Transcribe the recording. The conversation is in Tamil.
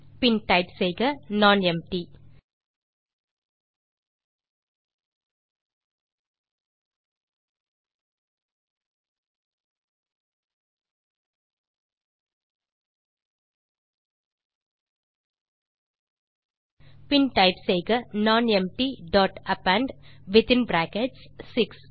பின் டைப் செய்க நானெம்ப்டி பின் டைப் செய்க nonempty dot append within brackets 6